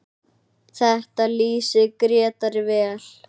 Þetta lýsir Grétari vel.